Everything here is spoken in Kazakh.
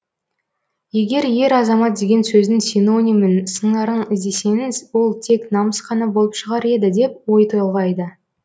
егер ер азамат деген сөздің синонимін сыңарын іздесеңіз ол тек намыс қана болып шығар еді деп ой толғайды